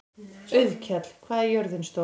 Auðkell, hvað er jörðin stór?